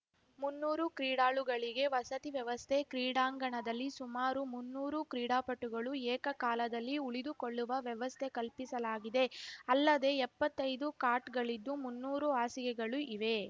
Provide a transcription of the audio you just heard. ಮುನ್ನೂರು ಕ್ರೀಡಾಳುಗಳಿಗೆ ವಸತಿ ವ್ಯವಸ್ಥೆ ಕ್ರೀಡಾಂಗಣದಲ್ಲಿ ಸುಮಾರು ಮುನ್ನೂರು ಕ್ರೀಡಾಪಟುಗಳು ಏಕಕಾಲದಲ್ಲಿ ಉಳಿದುಕೊಳ್ಳುವ ವ್ಯವಸ್ಥೆ ಕಲ್ಪಿಸಲಾಗಿದೆ ಅಲ್ಲದೇ ಎಪ್ಪತ್ತೈದು ಕಾಟ್‌ಗಳಿದ್ದು ಮುನ್ನೂರು ಹಾಸಿಗೆಗಳು ಇವೆ